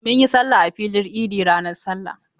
Mun yi sallah a filin idi ranar sallah.